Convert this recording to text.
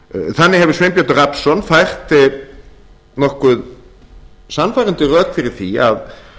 þannig hefur sveinbjörn rafnsson fært nokkuð sannfærandi rök fyrir því að